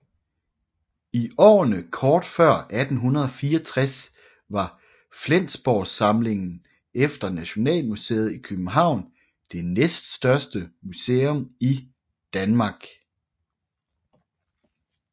I årene kort før 1864 var Flensborgsamlingen efter Nationalmuseet i København det næststørste museum i Danmark